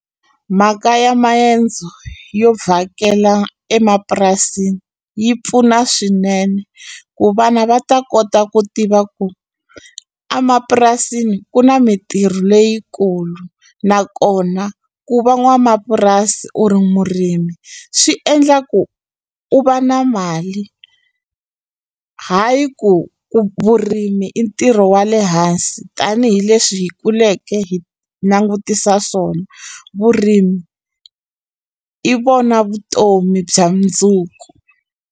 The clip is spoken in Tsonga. Mhaka ya mayendzo yo vhakela emapurasini yi pfuna swinene ku vana va ta kota ku tiva ku a mapurasini ku na mintirho leyikulu nakona ku va n'wamapurasi u ri murimi swi endla ku u va na mali hayi ku ku vurimi i ntirho wa le hansi tanihileswi hi kuleke hi langutisa swona vurimi i vona vutomi bya mundzuku.